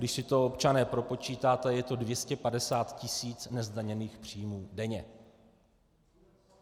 Když si to, občané, propočítáte, je to 250 tis. nezdaněných příjmů denně.